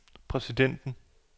præsidenten